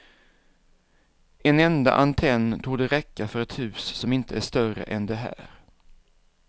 En enda antenn torde räcka för ett hus som inte är större än det här.